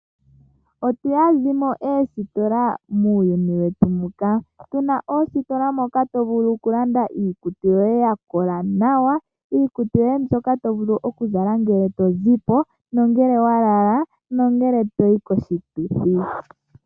Otunamo oositola odhindji muuyuni muka, muna oositola moka to vulu landa iikutu yoye yakola nawa, iikutu mbyoka to vulu okuzala ngele tozipo, ngele walala nenge toyi koshituthi.